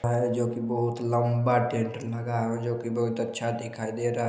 जोकि बोहोत लम्बा टेंट लगा हैं जोकि बोहोत अच्छा दिखाई दे रहा--